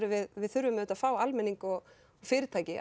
við við þurfum auðvitað að fá almenning og fyrirtæki